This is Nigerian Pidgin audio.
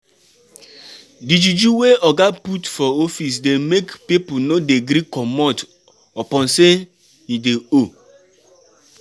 Di juju wey oga put for office dey make pipu no dey gree comot upon sey him dey owe.